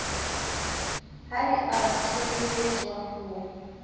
ha di a tshehetswa ho